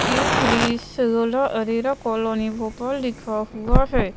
ए three Sarola Arera colony Bhopal लिखा हुआ हैं।